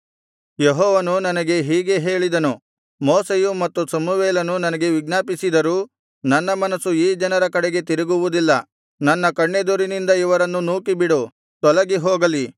ಯೆಹೋವನು ನನಗೆ ಹೀಗೆ ಹೇಳಿದನು ಮೋಶೆಯು ಮತ್ತು ಸಮುವೇಲನು ನನಗೆ ವಿಜ್ಞಾಪಿಸಿದರೂ ನನ್ನ ಮನಸ್ಸು ಈ ಜನರ ಕಡೆಗೆ ತಿರುಗುವುದಿಲ್ಲ ನನ್ನ ಕಣ್ಣೆದುರಿನಿಂದ ಇವರನ್ನು ನೂಕಿಬಿಡು ತೊಲಗಿ ಹೋಗಲಿ